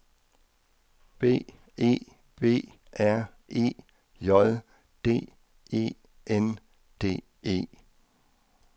B E B R E J D E N D E